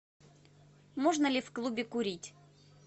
можно ли в клубе курить